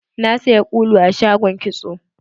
Na saya ƙulu a shagon kitso.